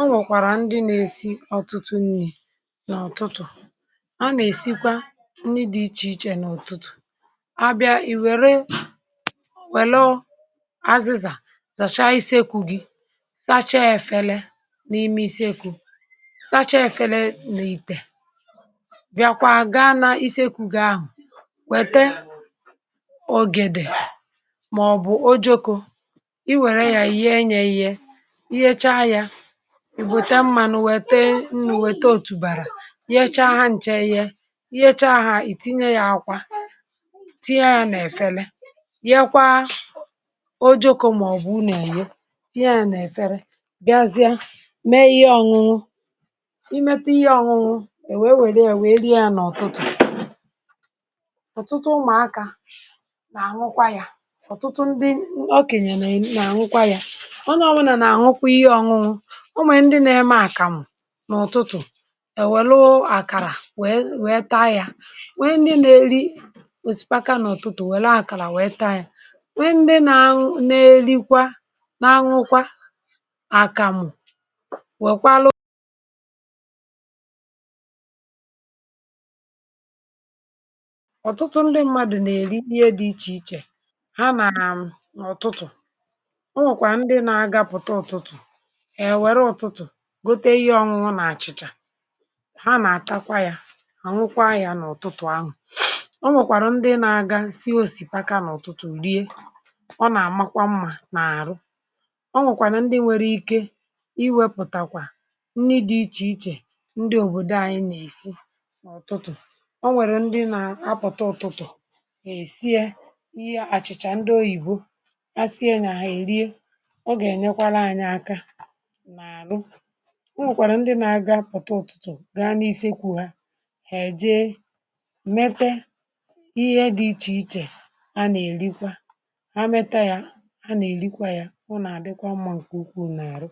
ọ nwekwàrà ndị na-esi ọtụtụ nni̇ n’ụtụtụ̀ a nà-èsikwa nni dị̇ ichè ichè n’ụ̀tụtụ̀. A bịa ì wère wèlu azịzà zàchaa iseku gi̇ sachaa efele n’ime iseku sacha efele na itè bịakwa gaa n’isi ekù g'ahụ̀ wète ogèdè màọ̀bụ̀ ojoko ị wère ya yee nye eyee ị yechaa ya ị wète mmanụ wète nnụ wète otùbàrà yechaa ha ǹcha eye ị yechaa hȧ ìtinye ya ákwá tinye ya nà-èfele yekwa ojoko màọ̀bụ̀ ụne èye tinye ya nà-èfere bịazie mee ihe ọñụñụ imete ihe ọñụñụ è wèe wère ya wèe rie ya n’ụtụtụ̀. Ọtụtụ ụmụ̀aka nà-àñụkwa ya ọ̀tụtụ ndị o kènyè nà-àñụkwa ya onye ọwụna na-àñụ àñụ. O nwee ndị na-eme àkàmụ̀ n’ụ̀tụtụ̀ è wèlu àkàrà wèe wèe taa yà nwee ndị na-eli osipaka n’ụ̀tụtụ̀ wèle àkàrà wèe taa yà, nwee ndị na-añụ na-elikwa na-añụkwa àkàmụ̀ wèkwàalụ Ọtụtụ ndị mmadụ̀ nà-èli ihe dị ichè ichè ha nàà n’ụ̀tụtụ̀ o nwèkwà ndị na-agapụta ụ̀tụtụ̀ èwèrè ụ̀tụtụ̀ gote ihe ọñụñụ nà àchị̀chà ha nà-àtakwa ya hà nwụkwa ahụ̀ n’ụ̀tụtụ̀ ahụ̀. O nwèkwàrà ndị na-aga sie osìpaka n’ụ̀tụtụ̀ rie ọ nà-àmakwa mmȧ n’àrụ. O nwèkwàrà ndị nwere ike iwepụ̀takwà nni dị̇ ichè ichè ndị òbòdò anyị nà-èsi n’ụ̀tụtụ̀; o nwèrè ndị na-apụ̀ta ụ̀tụtụ̀ hà-èsi ye ihe àchị̀chà ndị oyìbo ha sie nyà hà èrie ọ gà-ènyekwara anyị aka n'arụ. O nwèkwàrà ndị na-aga pụ̀ta ụ̀tụtụ̀ ga n’isekwu ha ha èje mete ihe dị̇ ichè ichè a na-elikwa ha mete ya ha nà-elikwa ya ọ nà-àdịkwa mma ǹkè ukwuu n’àrụ.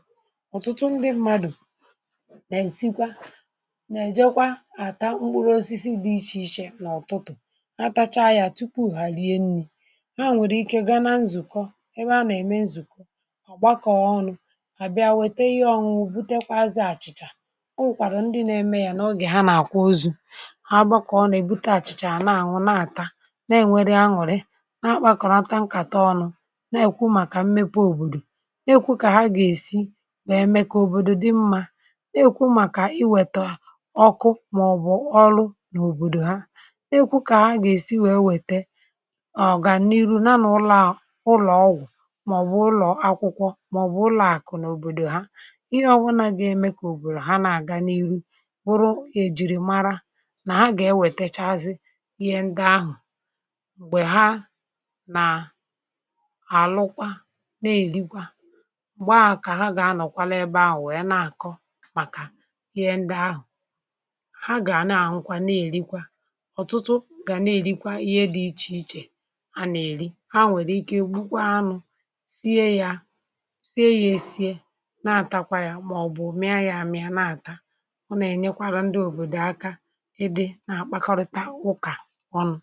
Ọtụtụ ndị mmadụ̀ nà-èsikwa nà-èjekwa àtà mkpụrụ osisi dị̇ ichè ichè n’ụ̀tụtụ̀ ha tachaa ya tupu hà rie nni̇ ha nwèrè ike gaa na nzụ̀kọ ebe a nà-ème nzụ̀kọ ha gbakọọ ọnụ ha bịa wete ihe ọñụñụ butekwazị àchịchà. O nwèkwàrà ndị nȧ-eme yȧ n’ogè ha nà-àkwá ozu ha gbakọ̀ọ ọnụ ha èbute àchịchà na-àṅụ na-àta na-ènweri añùri na-akpȧkọ̀nata nkàta ọnụ na-èkwu màkà mmepe òbòdò na-èkwu kà ha gà-èsi wèe mee kà òbòdò dị mma na-èkwu màkà iwèta ọkụ màọbụ̀ ọrụ n’òbòdò ha. Na-èkwu kà ha gà-èsi wèe wète ọ̀gàniiru ya na n’ụlọ̀ a ụlọ̀ọgwụ̀ màọbụ̀ ụlọ̀ akwụkwọ màọbụ̀ ụlọ aku n'obodo ha ihe ọbụlà dị eme kà òbòrò ha na-àga n’ihu wụrụ gà èjìrì mara nà ha gà ewètèchazị ihe ndi ahụ̀ m̀gbè ha nà àlụkwa na-èrikwa m̀gbè ahụ̀ kà ha gà-anọ̀kwa n'ebe ahụ̀ wèe na-àkọ màkà ihe ndi ahụ̀ ha gà-àna àñụkwa na-èrikwa. Ọtụtụ gà na-èrikwa ihe dị̇ ichè ichè ha nà-èri ha nwèrè ike gbukwaa anụ sie ya sie ya esie na-atakwa ya maọbụ mịa ya amịa na-ata ọ nà-enyekwàrụ̀ ndị òbòdò aka ịdị̇ na-àkpakọrịta ụkà ọnụ.